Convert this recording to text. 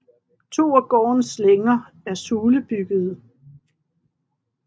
To af gårdens længer er sulebyggede